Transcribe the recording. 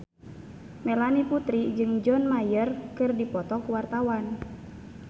Melanie Putri jeung John Mayer keur dipoto ku wartawan